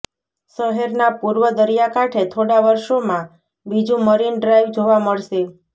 શહેરના પૂર્વ દરિયાકાંઠે થોડાં વર્ષોમાં બીજું મરીન ડ્રાઈવ જોવા મળશે